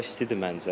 Hava istidir məncə.